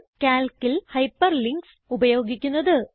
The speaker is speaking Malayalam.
Calcൽ ഹൈപ്പർലിങ്ക്സ് ഉപയോഗിക്കുന്നത്